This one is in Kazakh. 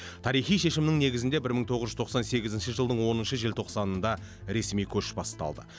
тарихи шешімнің негізінде бір мың тоғыз жүз тоқсан сегізінші жылдың оныншы желтоқсанында ресми көш басталды